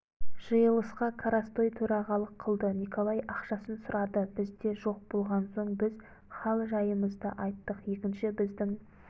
жиылысқа коростой төрағалық қылды николай ақшасын сұрады бізде жоқ болған соң біз хал-жайымызды айттық екінші біздің